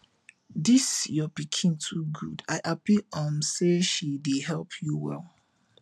dis your pikin too good i happy um say she dey help you well